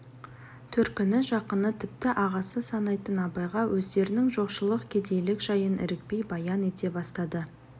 төркіні жақыны тіпті ағасы санайтын абайға өздерінің жоқшылық кедейлік жайын ірікпей баян ете бастады